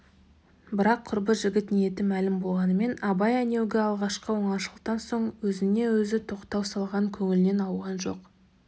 бірақ құрбы жігіт ниеті мәлім болғанымен абай әнеугі алғашқы оңашалықтан соң өзіне өзі тоқтау салған көңілінен ауған жоқ